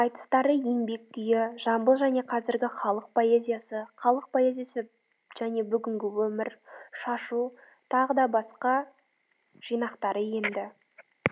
айтыстары еңбек күйі жамбыл және қазіргі халық поэзиясы халық поэзиясы және бүгінгі өмір шашу тағы да басқа жинақтары енді